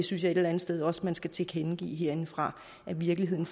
synes et eller andet sted også at man skal tilkendegive herindefra at virkeligheden